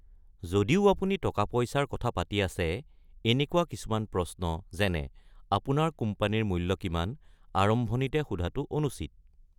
যদিও অপুনি টকা-পইছাৰ কথা পাতি আছে, এনেকুৱা কিছুমান প্ৰশ্ন যেনে, "অপোনাৰ কোম্পানীৰ মূল্য কিমান?", আৰম্ভণিতে সোধাটো অনুচিত।